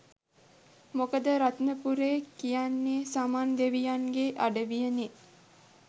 මොකද රත්නපුරේ කියන්නේ සමන් දෙවියන්ගේ අඩවිය නේ.